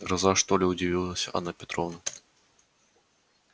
гроза что ли удивилась анна петровна